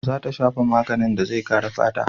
Za ta shafa maganin da zai kare fata.